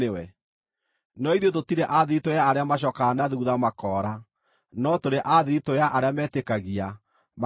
No ithuĩ tũtirĩ a thiritũ ya arĩa macookaga na thuutha makora, no tũrĩ a thiritũ ya arĩa metĩkagia, makahonokio.